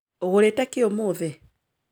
Urugĩte kĩ ũmũthĩ